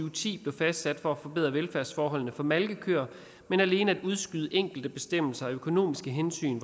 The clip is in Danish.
og ti blev fastsat for at forbedre velfærdsforholdene for malkekøer men alene at udskyde enkelte bestemmelser af økonomiske hensyn